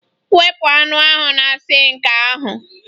Wepụ anụ ahụ na sink ahụ